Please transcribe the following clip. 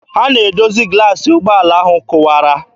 Ha na-edozi glaasị ụgbọala ahụ kụwara.